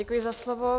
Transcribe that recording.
Děkuji za slovo.